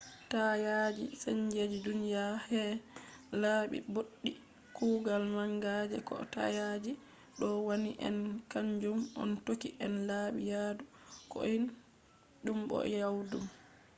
taayaji sanji duniya her laabi ɓoɗɗi. kuugal manga je ko taayaji ɗo wanni en kanjum on hokki en laabi yaadu koiɗum bo jawɗum